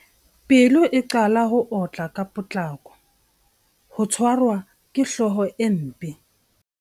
Pelo e qala ho otla ka potlako. Ho tshwarwa ke hlooho e mpe.